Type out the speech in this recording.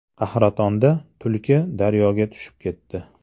Qahratonda tulki daryoga tushib ketdi.